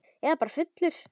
Eða bara fullur.